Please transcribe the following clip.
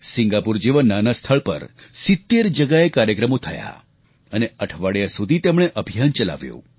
Singapore જેવા નાનાં સ્થળ પર 70 જગ્યાએ કાર્યક્રમો થયા અને અઠવાડિયા સુધી તેમણે અભિયાન ચલાવ્યું